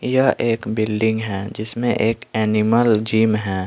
यह एक बिल्डिंग है जिसमें एक एनिमल जिम है।